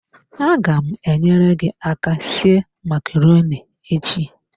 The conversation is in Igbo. Aga m enyere gi aka sie macaroni echi.